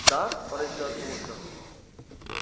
да поразилась мамулька